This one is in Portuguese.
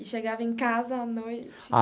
E chegava em casa à noite?